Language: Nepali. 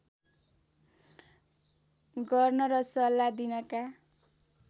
गर्न र सल्लाह दिनका